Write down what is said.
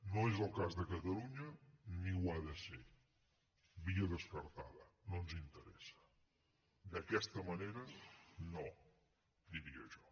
no és el cas de catalunya ni ho ha de ser via descartada no ens interessa d’aquesta manera no diria jo